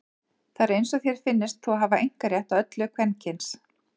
Það er eins og þér finnist þú hafa einkarétt á öllu kvenkyns.